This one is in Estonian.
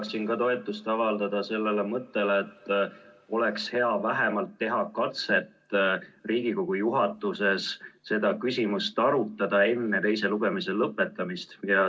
Ka mina tahaksin toetust avaldada mõttele, et oleks hea teha vähemalt katse Riigikogu juhatuses seda küsimust arutada enne teise lugemise lõpetamist.